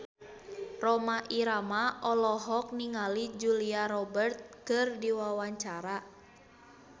Rhoma Irama olohok ningali Julia Robert keur diwawancara